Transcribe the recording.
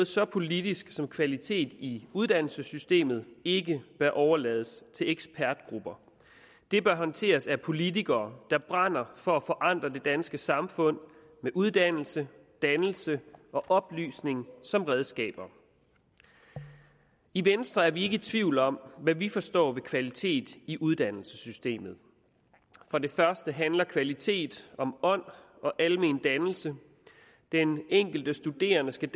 så politisk som kvalitet i uddannelsessystemet ikke bør overlades til ekspertgrupper det bør håndteres af politikere der brænder for at forandre det danske samfund med uddannelse dannelse og oplysning som redskaber i venstre er vi ikke i tvivl om hvad vi forstår ved kvalitet i uddannelsessystemet for det første handler kvalitet om ånd og almen dannelse den enkelte studerende skal